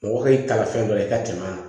Mɔgɔ b'i kalan fɛn dɔ la i ka tɛmɛ a kan